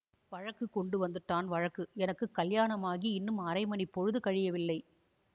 வழக்குக் கொண்டு வந்துட்டான் வழக்கு எனக்கு கல்யாணமாகி இன்னும் அரைமணிப் பொழுது கழியவில்லை